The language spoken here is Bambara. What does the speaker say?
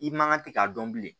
I man kan tɛ k'a dɔn bilen